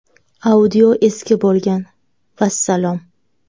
Audio eski bo‘lgan – vassalom.